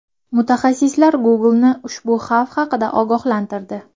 Mutaxassislar Google’ni ushbu xavf haqida ogohlantirdi.